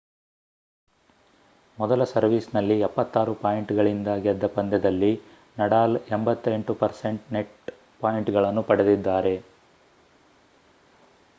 ಮೊದಲ ಸರ್ವೀಸ್‌ನಲ್ಲಿ 76 ಪಾಯಿಂಟ್‌ಗಳಿಂದ ಗೆದ್ದ ಪಂದ್ಯದಲ್ಲಿ ನಡಾಲ್ 88% ನೆಟ್‌ ಪಾಯಿಂಟ್‌ಗಳನ್ನು ಪಡೆದಿದ್ದಾರೆ